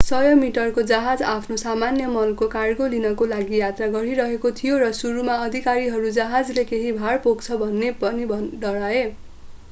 100 मिटरको जहाज आफ्नो सामान्य मलको कार्गो लिनका लागि यात्रा गरिरहेको थियो र सुरुमा अधिकारीहरू जहाजले केही भार पोख्न सक्छ भनी डराए